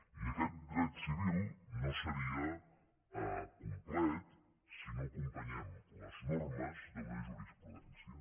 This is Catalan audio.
i aquest dret civil no seria complet si no acompanyem les normes d’una jurisprudència